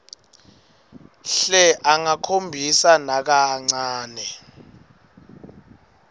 hle angakhombisi nakancane